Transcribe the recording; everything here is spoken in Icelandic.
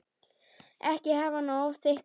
Ekki hafa hana of þykka.